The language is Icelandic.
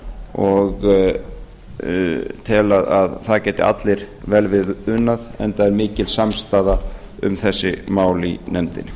og tel að það geti allir vel við unað enda er mikil samstaða um þessi mál í nefndinni